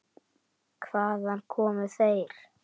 Hvaðan komu þeir?